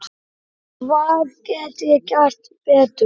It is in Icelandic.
Hvað get ég gert betur?